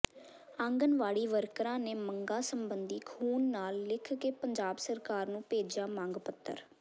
ਆਂਗਨਵਾੜੀ ਵਰਕਰਾਂ ਨੇ ਮੰਗਾਂ ਸਬੰਧੀ ਖ਼ੂਨ ਨਾਲ ਲਿਖ ਕੇ ਪੰਜਾਬ ਸਰਕਾਰ ਨੂੰ ਭੇਜਿਆ ਮੰਗ ਪੱਤਰ